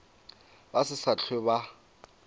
ba se sa hlwe ba